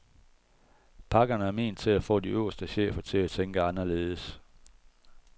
Pakkerne er ment til at få de øverste chefer til at tænke anderledes.